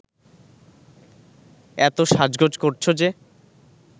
এত সাজগোজ করছ যে